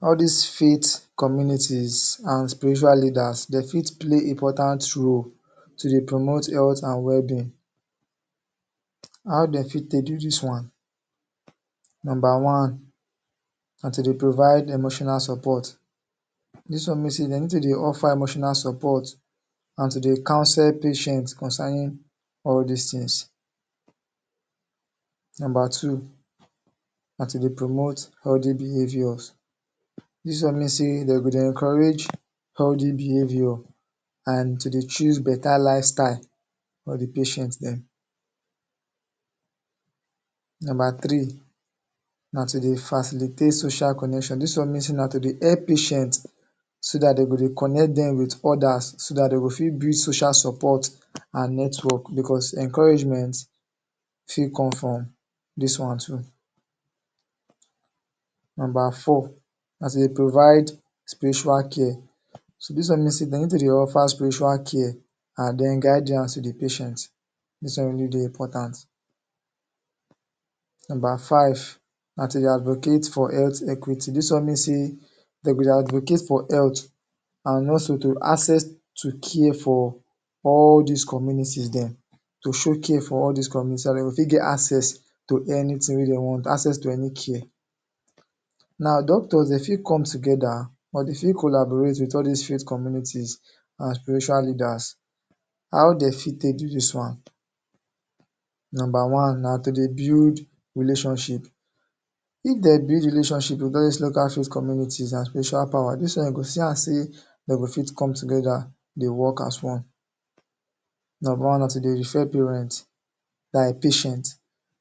All dis faith communities and spiritual leaders dey fit play important role to dey promote health and well-being. How dey fit take do dis one? Number one, na to dey provide emotional support. Dis one mean say dey need to dey offer emotional support and to dey counsel patient concerning all these things. Number two, na to dey promote healthy behaviours. Dis one mean say dey go dey encourage encourage healthy behavior and to dey choose better lifestyle for the patient dem. Number three, na to dey facilitate social connections. Dis one mean say to dey help patient so dat dey go dey connect dem wit others so that dey go fit build social support and network because encouragement fit come from dis one too. Number four, na to dey provide spiritual care. So dis one mean say dey need to dey offer spiritual care and then guidance to the patient. Dis one really dey important. Number five, na to dey advocate for health equity. dis one mean say dey go dey advocate for health also to access to care for all dis communities dem, to show care for all dis communities so dat dey fit get access, access to to any care. Now, doctors dey fit come together together or dey fit collaborate wit all dis health communities and spiritual leaders. How dey fit take do dis one? Number one, na to dey build relationship. If they build relationship with all dis local faith communities and spiritual powers, dis one you go see am say dey go fit come together dey work as one. Number one na to dey refer parent like patient